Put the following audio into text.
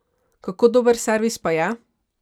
Kako dober servis pa je?